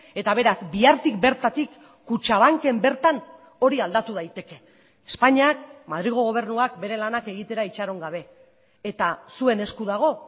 eta beraz bihartik bertatik kutxabanken bertan hori aldatu daiteke espainiak madrilgo gobernuak bere lanak egitera itxaron gabe eta zuen esku dago